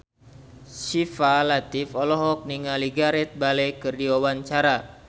Syifa Latief olohok ningali Gareth Bale keur diwawancara